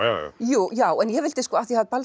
já já já en ég vildi af því